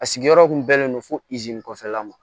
A sigiyɔrɔ kun bɛnnen don fo kɔfɛla ma